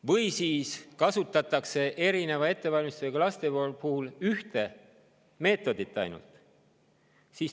Või siis kasutatakse erineva ettevalmistusega laste puhul ainult ühte meetodit.